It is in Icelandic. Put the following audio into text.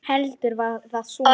Heldur var það svona!